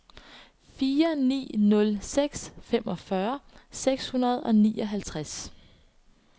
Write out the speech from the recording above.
fire ni nul seks femogfyrre seks hundrede og nioghalvtreds